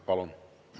Palun!